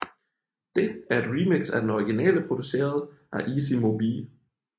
Det er et remix af den originale produceret af Easy Mo Bee